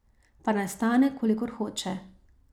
Pa naj stane, kolikor hoče.